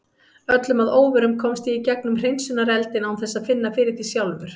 Öllum að óvörum komst ég í gegnum hreinsunareldinn án þess að finna fyrir því sjálfur.